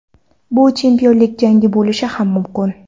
Bu chempionlik jangi bo‘lishi ham mumkin.